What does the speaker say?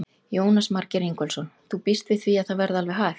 Jónas Margeir Ingólfsson: Þú býst við því að það verði alveg hægt?